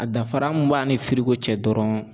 A dafara mun b'a ni firiko cɛ dɔrɔn